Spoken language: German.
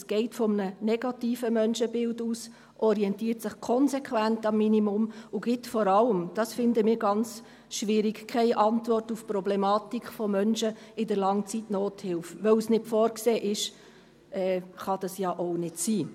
Es geht von einem negativen Menschenbild aus, orientiert sich konsequent am Minimum und gibt vor allem – das finden wir ganz schwierig – keine Antwort auf die Problematik von Menschen in der Langzeitnothilfe, weil es nicht vorgesehen ist, kann das ja auch nicht sein.